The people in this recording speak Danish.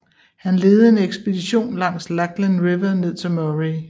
Han ledede en ekspedition langs Lachlan River ned til Murray